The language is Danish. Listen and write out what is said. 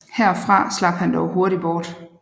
Herfra slap han dog hurtig bort